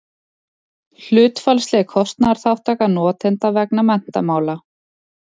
hlutfallsleg kostnaðarþátttaka notenda vegna menntamála